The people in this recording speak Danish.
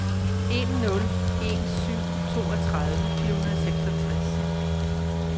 en nul en syv toogtredive fire hundrede og seksogtres